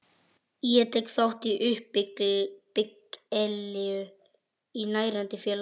Ég tek þátt í uppbyggilegu og nærandi félagsstarfi.